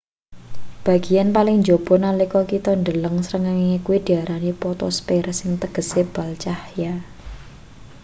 bageyan paling njaba nalika kita ndeleng srengenge kuwi diarani potosper sing tegese bal cahya